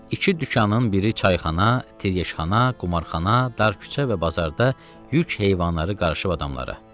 İki dükanın biri çayxana, tiryəkxana, qumarxana, dar küçə və bazarda yük heyvanları qarışıb adamlara.